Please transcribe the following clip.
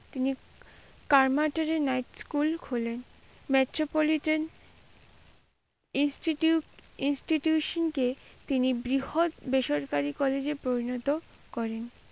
তিনি কারমাটুরে night school খোলেন। metropoliton institute institution কে তিনি বৃহৎ বেসরকারি কলেজে পরিণত করেন।